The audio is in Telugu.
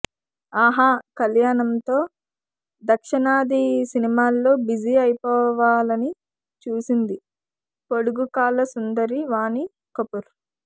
ఆహా కళ్యాణంతో దక్షిణాది సినిమాల్లో బిజీ అయిపోవాలని చూసింది పొడుగు కాళ్ల సుందరి వాణి కపూర్